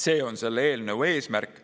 See on selle eelnõu eesmärk.